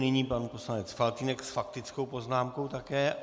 Nyní pan poslanec Faltýnek s faktickou poznámkou také.